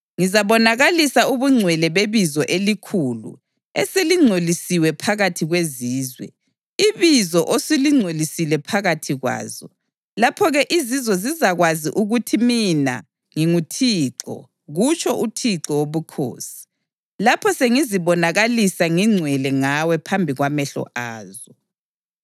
Ngizabonakalisa ubungcwele bebizo elikhulu, eselingcolisiwe phakathi kwezizwe, ibizo osulingcolisile phakathi kwazo. Lapho-ke izizwe zizakwazi ukuthi mina nginguThixo, kutsho uThixo Wobukhosi, lapho sengizibonakalisa ngingcwele ngawe phambi kwamehlo azo.